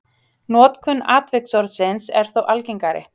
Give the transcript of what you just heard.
notkun atviksorðsins er þó algengari